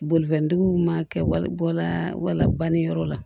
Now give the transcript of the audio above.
Bolifɛntigiw ma kɛ wa bɔla wala bannen yɔrɔ la